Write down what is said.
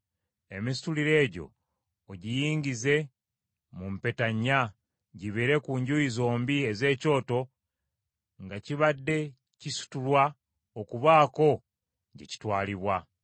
Emisituliro egyo ogiyingize mu mpeta ennya, gibeere ku njuyi zombi ez’ekyoto nga kibadde kisitulwa okubaako gye kitwalibwa.